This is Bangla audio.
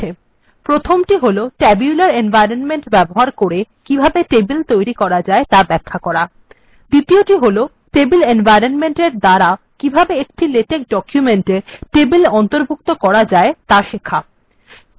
প্রথমটি হল tabular এনভয়রনমেন্ট্ ব্যবহার করে কিভাবে টেবিল তৈরী করা যায় ত়া ব্যাখ্যা করা দ্বিতীয়টি হল টেবিল এনভয়রনমেন্ট্ ব্যবহার করে কিভাবে একটি লেটেক্ ডকুমেন্ট্ এ টেবিল অন্তর্ভুক্ত করা যায় ত়া শেখা